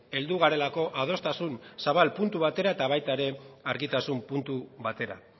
heldu garelako adostasun zabal puntu batera eta baita ere argitasun puntu batera